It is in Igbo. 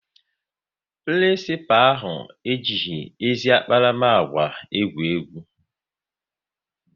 Prinisipalụ ahụ ejighị ezi akparamagwa egwu egwu